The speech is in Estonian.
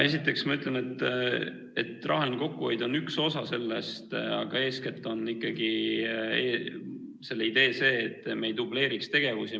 Esiteks, ma ütlen, et rahaline kokkuhoid on üks osa sellest, aga eeskätt on ikkagi idee see, et me ei dubleeriks tegevusi.